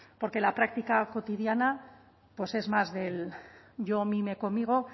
porque la práctica cotidiana pues es más del yo mi me conmigo